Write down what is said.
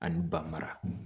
Ani ba mara